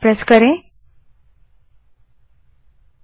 enter दबायें